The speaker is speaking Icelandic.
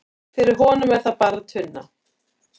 fyrir honum er það bara tunna